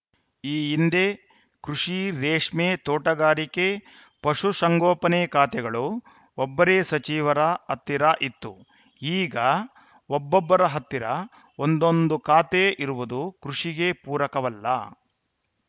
ಈ ಹಿಂದೆ ಕೃಷಿ ರೇಷ್ಮೆ ತೋಟಗಾರಿಕೆ ಪಶುಸಂಗೋಪನೆ ಖಾತೆಗಳು ಒಬ್ಬರೇ ಸಚಿವರ ಹತ್ತಿರ ಇತ್ತು ಈಗ ಒಬ್ಬೊಬ್ಬರ ಹತ್ತಿರ ಒಂದೊಂದು ಖಾತೆ ಇರುವುದು ಕೃಷಿಗೆ ಪೂರಕವಲ್ಲ